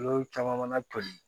Olu caman mana toli